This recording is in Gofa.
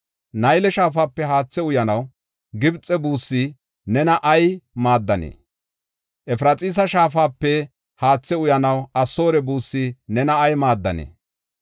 Nayle shaafape haathe uyanaw Gibxe buussi nena ay maaddanee? Efraxiisa shaafape haathe uyanaw Asoore buussi nena ay maaddanee?